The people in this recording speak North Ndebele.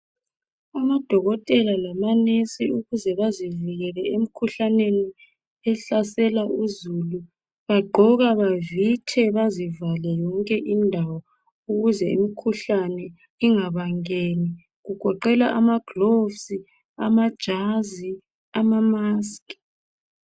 AmaDokotela lama Nesi ukuze bazivikele emkhuhlaneni ehlasela uzulu. Bagqoka bavithe bazivale yonke indawo ukuze imkhuhlane ingabangeni kugoqela ama gloves amajazi, ama mask.